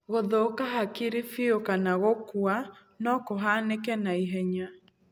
Gũthũka hakiri biũ kana gũkua no kũhanĩke naihenya.